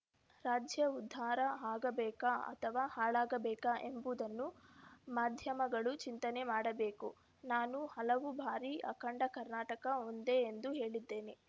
ರಾಜ್ಯ ಉದ್ಧಾರ ಆಗಬೇಕಾ ಅಥವಾ ಹಾಳಾಗಬೇಕಾ ಎಂಬುದನ್ನು ಮಾಧ್ಯಮಗಳು ಚಿಂತನೆ ಮಾಡಬೇಕು ನಾನು ಹಲವು ಬಾರಿ ಅಖಂಡ ಕರ್ನಾಟಕ ಒಂದೇ ಎಂದು ಹೇಳಿದ್ದೇನೆ